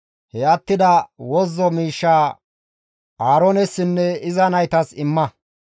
He attida wozzo miishshaa Aaroonessinne iza naytas imma.»